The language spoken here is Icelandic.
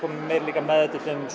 komin meiri meðvitund um